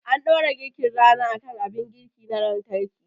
An dora girkin rana akan abin girki na lantarki